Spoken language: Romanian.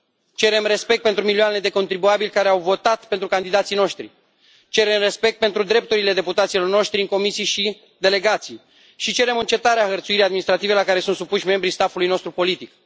Cerem respect pentru milioanele de contribuabili care au votat pentru candidații noștri, cerem respect pentru drepturile deputaților noștri în comisii și delegații și cerem încetarea hărțuirii administrative la care sunt supuși membrii staff ului nostru politic.